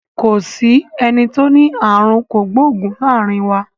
Kò sí eni tó ní àrùn kògbóògùn láàrin wa.